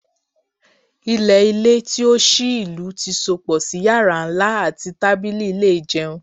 Ilẹ-ilẹ ti o ṣii ilu ti sopọ si yara nla ati tabili ile ijeun